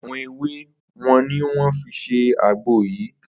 Àwo̩n ewé wo ni wó̩n fi s̩e àgbo yìí